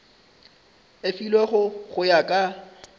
e filwego go ya ka